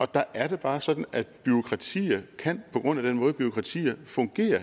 der er det bare sådan at bureaukratier på grund af den måde som bureaukratier fungerer